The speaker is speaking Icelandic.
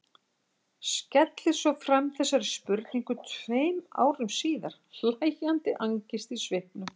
Skellir svo fram þessari spurningu tveim árum síðar, hlæjandi angist í svipnum.